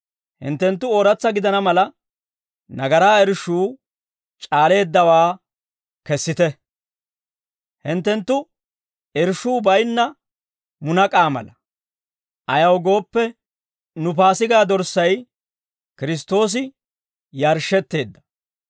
Hinttenttu ooratsa gidana mala, nagaraa irshshuu c'aaleeddawaa kessite. Hinttenttu irshshuu baynna munak'aa mala. Ayaw gooppe, nu Paasigaa dorssay, Kiristtoosi yarshshetteedda.